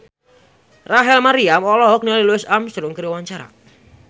Rachel Maryam olohok ningali Louis Armstrong keur diwawancara